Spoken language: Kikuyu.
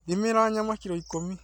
Thimĩra nyama kiro ikũmi